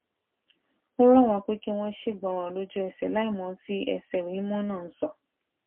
ń rò wón pé kí wón ṣègbọràn lójú ẹsè láìmò ohun tí ẹsẹ ìwé mímó náà ń sọ